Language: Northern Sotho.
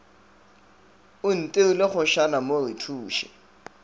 o itirile kgošana mo rethuše